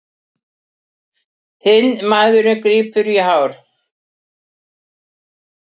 Hinn maðurinn grípur í hár.